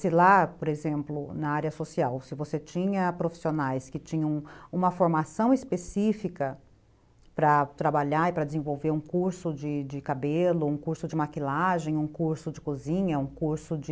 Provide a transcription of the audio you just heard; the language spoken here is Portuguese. Se lá, por exemplo, na área social, se você tinha profissionais que tinham uma formação específica para trabalhar e para desenvolver um curso de de cabelo, um curso de maquilagem, um curso de cozinha, um curso de